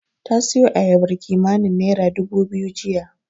Ta siyo ayabar kimanin naira dubu biyu jiya.